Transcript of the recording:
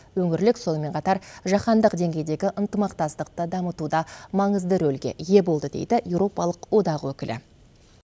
өңірлік сонымен қатар жаһандық деңгейдегі ынтымақтастықты дамытуда маңызды рөлге ие болды дейді еуропалық одақ өкілі